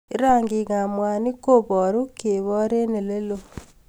Rangikab mwanik kobaru kebor eng oleloo